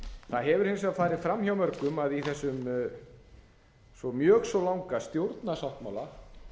það hefur hins vegar farið fram hjá mörgum að í þessum mjög svo langa stjórnarsáttmála